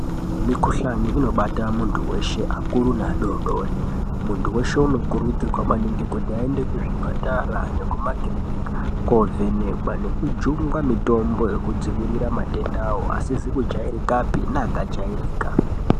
Mikuhlani inibata muntu weshe akuru neadodori, muntu weshe unokurudzirwa kuti aende kuzvipatara nekumakirinika kovhenekwa nekujungwa mitombo yekudzivirira matendawo asizi kujairikapi neakajairika.